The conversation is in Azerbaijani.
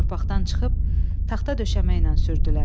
Torpaqdan çıxıb taxta döşəməylə sürdülər.